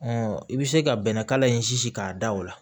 i bɛ se ka bɛnɛ kala in si k'a da o la